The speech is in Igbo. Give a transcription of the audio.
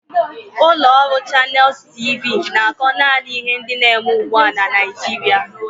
Ụlọ ọrụ Channels T.V na-akọ naanị ihe ndị na-eme ugbu a na Naịjirịa